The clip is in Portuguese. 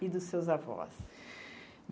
E dos seus avós?